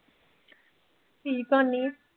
ਕੀ ਕਰਨੀ ਆਂ।